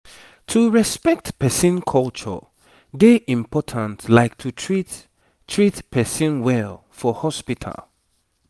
to respect person culture dey important like to treat treat person well for hospital